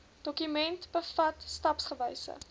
dokument bevat stapsgewyse